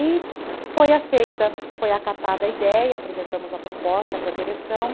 E foi aceita, foi acatada a ideia, apresentamos a proposta para a direção.